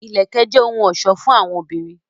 Ìlẹ̀kẹ̀ jẹ́ òhun ọ̀ṣọ́ fún àwọn obìnrin